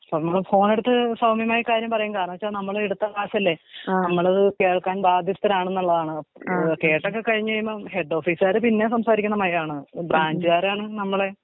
നമ്മള് ഫോണെടുത്തു സൗമ്യമായി കാര്യം പറയും കാരണന്തോയ്ച്ച നമ്മള് എടുത്ത കാശല്ലേ. നമ്മള് കേൾക്കാൻ ബാധ്യസ്ഥതരാണെന്നുള്ളതാണ് അപ്പൊ കേസൊക്കെ കഴിഞ്ഞയിയുമ്പം ഹെഡ് ഓഫീസാര് പിന്നെയും സംസാരിക്കണ മയാണ് ബ്രാഞ്ച് ക്കാരാണ് നമ്മളെ.